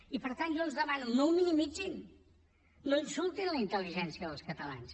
i per tant jo els demano no ho minimitzin no insultin la intel·ligència dels catalans